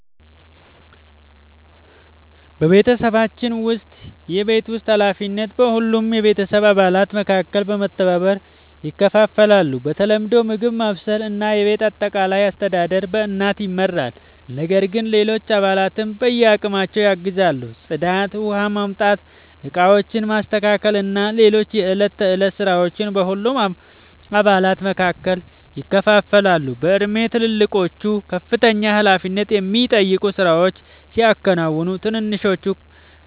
በቤተሰባችን ውስጥ የቤት ውስጥ ኃላፊነቶች በሁሉም የቤተሰብ አባላት መካከል በመተባበር ይከፋፈላሉ። በተለምዶ ምግብ ማብሰል እና የቤት አጠቃላይ አስተዳደር በእናት ይመራል፣ ነገር ግን ሌሎች አባላትም በአቅማቸው ያግዛሉ። ጽዳት፣ ውኃ ማምጣት፣ ዕቃዎችን ማስተካከል እና ሌሎች የዕለት ተዕለት ሥራዎች በሁሉም አባላት መካከል ይከፋፈላሉ። በእድሜ ትልልቆቹ ከፍተኛ ኃላፊነት የሚጠይቁ ሥራዎችን ሲያከናውኑ፣ ትንንሾቹ